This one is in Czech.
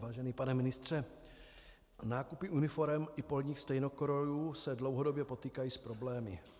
Vážený pane ministře, nákupy uniforem i polních stejnokrojů se dlouhodobě potýkají s problémy.